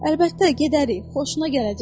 Əlbəttə gedərik, xoşuna gələcək.